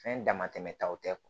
Fɛn dama tɛmɛ taw tɛ